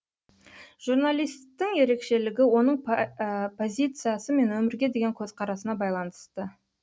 журналисттің ерекшелігі оның позициясы мен өмірге деген көзқарасына байланысты